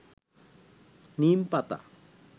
নিমপাতা